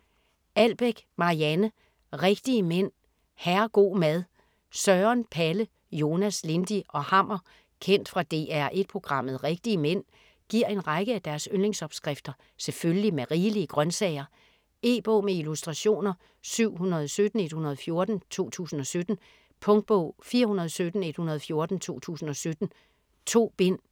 Albeck, Marianne: Rigtige mænd - herrego' mad Søren, Palle, Jonas, Lindy og Hammer kendt fra DR1 programmet "Rigtige mænd" giver en række af deres yndlingsopskrifter selvfølgelig med rigelige grøntsager. E-bog med illustrationer 717114 2017. Punktbog 417114 2017. 2 bind.